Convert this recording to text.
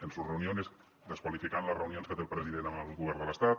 en sus reuniones desqualificant les reunions que té el president amb el govern de l’estat